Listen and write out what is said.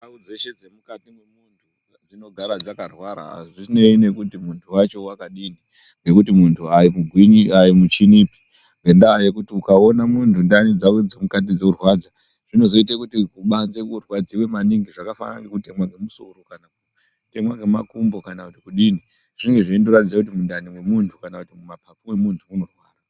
Ndau dzeshe dzemukati memuntu dzinogara dzakarwara hazvinei nekuti muntu wacho wakadini ngekuti munhu haimuchinipi ngendaa yeuti ukaone muntu ndiani dzake dzorwadza zvinozoite kuti kubanze kurwadziwe maningi zvakafanana ngekutemwa ngemusoro kana kutemwa ngemakumbo zvinenge zveindoratidza kuti mundani mwemuntu kana kuti mumapapu mwemuntu munorwara.